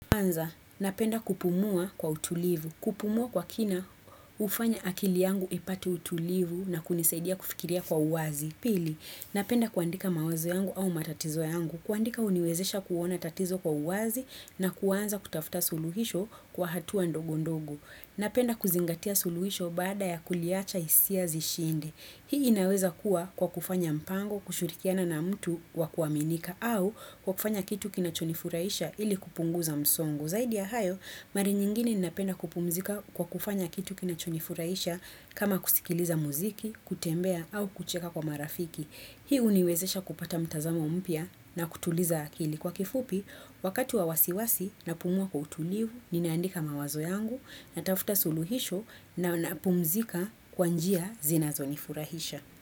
Kwanza, napenda kupumua kwa utulivu. Kupumua kwa kina ufanya akili yangu ipate utulivu na kunisaidia kufikiria kwa uwazi. Pili, napenda kuandika mawazo yangu au matatizo yangu. Kuandika uniwezesha kuona tatizo kwa uwazi na kuwanza kutafuta suluhisho kwa hatuwa ndogo ndogo. Napenda kuzingatia suluhisho bada ya kuliacha isia zishinde. Hii inaweza kuwa kwa kufanya mpango kushirikiana na mtu wakuaminika au kwa kufanya kitu kinachonifuraisha ili kupunguza msongo. Kwa zaidi ya hayo, mara nyingine ni napenda kupumzika kwa kufanya kitu kina chonifurahisha kama kusikiliza muziki, kutembea au kucheka kwa marafiki. Hi uniwezesha kupata mtazamo mpia na kutuliza akili. Kwa kifupi, wakati wa wasiwasi na pumua kwa utulivu, ninaandika mawazo yangu na tafuta suluhisho na na pumzika kwanjia zinazo nifurahisha.